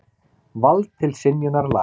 Vald til synjunar laga.